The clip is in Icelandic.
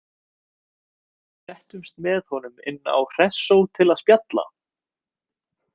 Við settumst með honum inn á Hressó til að spjalla.